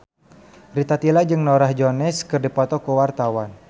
Rita Tila jeung Norah Jones keur dipoto ku wartawan